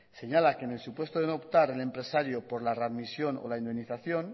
señala que en el supuesto de no optar el empresario por la readmisión o la indemnización